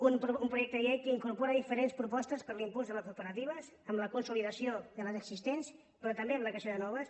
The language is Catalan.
un projecte de llei que incorpora diferents propostes per a l’impuls de les cooperatives amb la consolidació de les existents però també amb la creació de noves